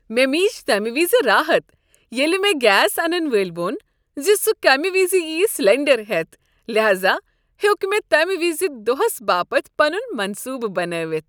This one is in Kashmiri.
مےٚ میج تمہ وزِ راحت ییٚلہ مےٚ گیس انن وٲلۍ ووٚن زِ سہ کمہ وز ییہ سلٮ۪نٛڈر ہٮ۪تھ ،لہاذا ہیوٚک مےٚ تمہِ وِزِ دوہس باپتھ پنن منصوبہٕ بنٲوتھ۔